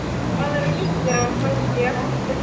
Maður hittir hann kannski eftir stríð.